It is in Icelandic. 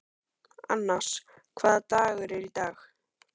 Annas, hvaða dagur er í dag?